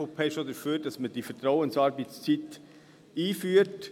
Die EVP ist auch dafür, dass man die Vertrauensarbeitszeit einführt.